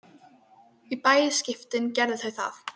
Í bæði skiptin gerðu þau það.